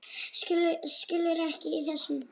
Skilur ekkert í þessu.